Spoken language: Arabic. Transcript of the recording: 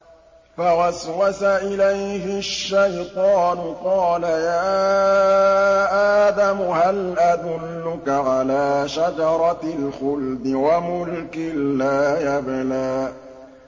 فَوَسْوَسَ إِلَيْهِ الشَّيْطَانُ قَالَ يَا آدَمُ هَلْ أَدُلُّكَ عَلَىٰ شَجَرَةِ الْخُلْدِ وَمُلْكٍ لَّا يَبْلَىٰ